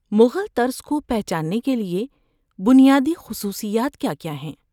مغل طرز کو پہچاننے کے لیے بنیادی خصوصیات کیا کیا ہیں؟